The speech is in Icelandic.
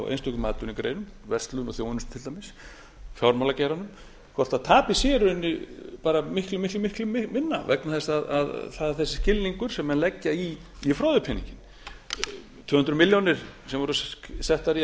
einstökum atvinnugreinum verslun og þjónustu til dæmis fjármálageiranum hvort tapið sé í rauninni bara miklu miklu miklu minna vegna þess að það er þessi skilningur sem menn leggja í froðupeninginn tvö hundruð milljónir sem voru settar í að